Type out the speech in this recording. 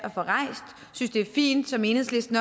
synes det er fint som enhedslisten